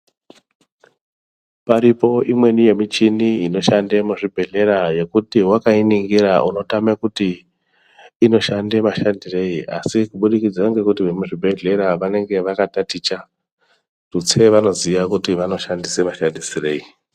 Paripo imweni ye michini inoshande mu zvibhedhlera yekuti wakai ningira uno tame kuti inoshande mashandirei asi kubudikidza ngekuti vemu zvibhedhlera vanenge vaka taticha tutsire vanoziya kuti vano shandisa mashandisirei.